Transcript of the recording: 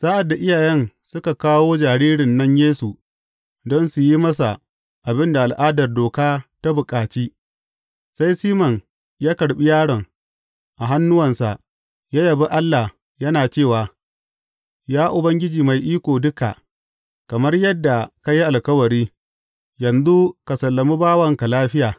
Sa’ad da iyayen suka kawo jaririn nan Yesu don su yi masa abin da al’adar Doka ta bukaci, sai Siman ya karɓi yaron a hannuwansa ya yabi Allah, yana cewa, Ya Ubangiji Mai Iko Duka, kamar yadda ka yi alkawari, yanzu ka sallami bawanka lafiya.